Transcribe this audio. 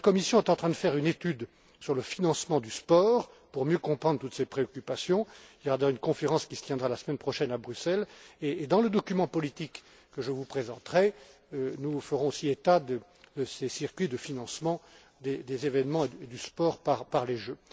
La Commission est en train de faire une étude sur le financement du sport pour mieux comprendre toutes ces préoccupations il y aura d'ailleurs une conférence qui se tiendra la semaine prochaine à Bruxelles et dans le document politique que je vous présenterai, nous ferons aussi état de ces circuits de financement des événements et du sport par les